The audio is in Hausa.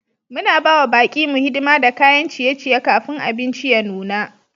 Muna ba wa baƙi mu hidima da kayan ciye-ciye kafin abinci ya nuna.